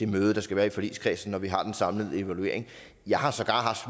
møde der skal være i forligskredsen når vi har den samlede evaluering jeg har sågar haft